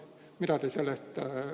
Mida te sellest arvate?